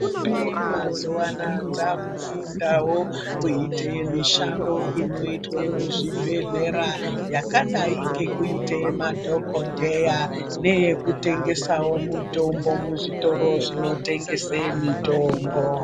Ndombi mazuva ano dzakudundawo kuita mishando inoitwa muzvibhedhlera yakadai nekuite madhokodheya neyekutengesawo mitombo muzvitoro zvinotengesa mitombo.